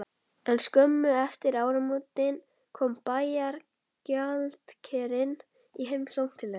En skömmu eftir áramótin kom bæjargjaldkerinn í heimsókn til þeirra.